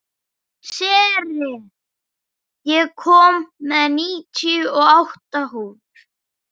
Sera, ég kom með níutíu og átta húfur!